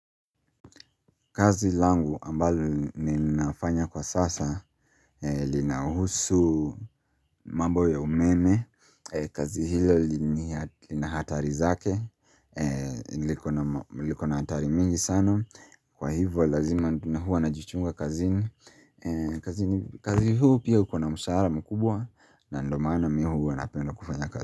Kazi langu ambalo ninafanya kwa sasa Linahusu mambo ya umeme kazi hilo lina hatari zake liko na hatari mingi sana. Kwa hivyo lazima na huwa najichunga kazini. Kazi huu pia ukona mshahara mkubwa, na ndio maana mi huwa napenda kufanya kazi.